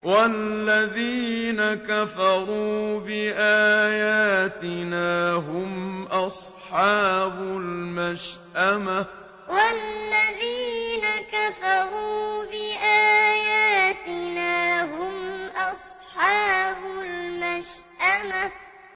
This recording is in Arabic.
وَالَّذِينَ كَفَرُوا بِآيَاتِنَا هُمْ أَصْحَابُ الْمَشْأَمَةِ وَالَّذِينَ كَفَرُوا بِآيَاتِنَا هُمْ أَصْحَابُ الْمَشْأَمَةِ